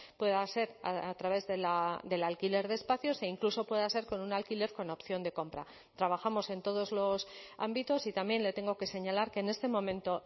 pueda ser a través del alquiler de espacios e incluso pueda ser con un alquiler con opción de compra trabajamos en todos los ámbitos y también le tengo que señalar que en este momento